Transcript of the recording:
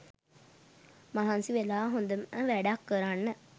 මහන්සි වෙලා හොඳම වැඩක් කරන්න